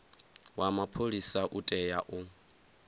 wa mapholisa u tea u